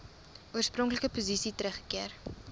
oorspronklike posisie teruggekeer